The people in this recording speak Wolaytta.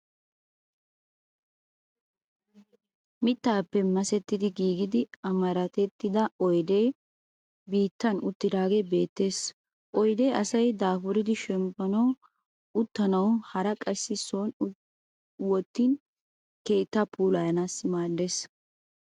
Mittaappe masettidi giigida amarattida oyidee biittan uttidagee beettees. Oyidee asay daafuridi shemppanawunne uttanawu hara qassi sooni wottin keettaa puulayanaassi maaddees.